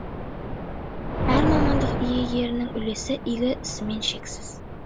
әр мамандық иегеріның үлесі игі ісімен шексіз